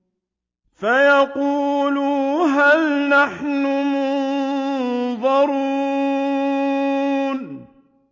فَيَقُولُوا هَلْ نَحْنُ مُنظَرُونَ